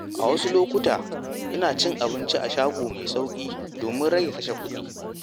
A wasu lokuta, ina cin abinci a shago mai sauƙi domin rage kashe kuɗi.